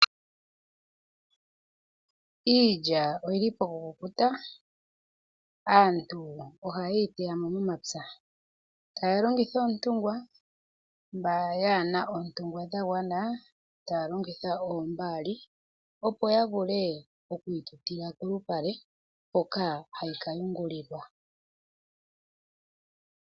Iilya oyili pokukukuta, aantu ohaye yi teya mo momapya. Taya longitha oontungwa, mboka yaana oontungwa dha gwana, taya longitha oombaali, opo yavule okwiitutila kolupale, hoka hayi ka yungulilwa.